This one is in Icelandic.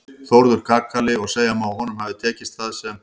Þórður kakali og segja má að honum hafi tekist það sem